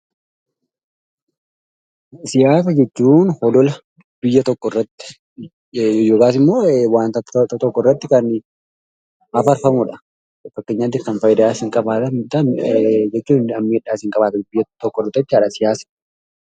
Siyaasa jechuun olola biyya tokkorratti yookaasimmoo wanta tokkorratti kan afarfamudha. Fakkeenyaatiif kan fayidaas hin qabaatan jechuun miidhaas hin qabaatan jechuu tokko miti jechuudha siyaasni.